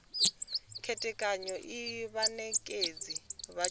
khethekanyo iyi vhanekedzi vha tshumelo